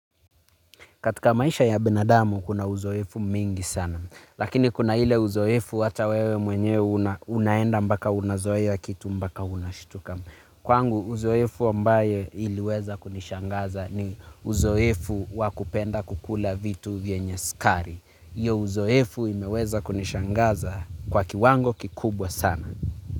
Katika maisha ya binadamu kuna uzoefu mwingi sana. Lakini kuna ile uzoefu hata wewe mwenyewe unaenda mpaka unazoea kitu mpaka unashituka. Kwangu uzoefu ambaye iliweza kunishangaza ni uzoefu wa kupenda kukula vitu vyenye sukari. Hiyo uzoefu imeweza kunishangaza kwa kiwango kikubwa sana.